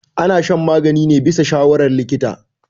ana shan magani ne bisa shawarar likita